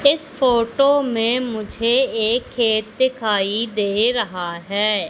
इस फोटो में मुझे एक खेत दिखाई दे रहा है।